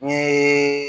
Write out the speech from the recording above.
N ye